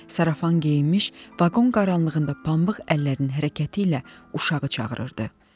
Sarafan geyinmiş, vaqonun qaranlığında pambıq əllərinin hərəkəti ilə uşağı çağırırdı.